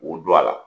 K'u don a la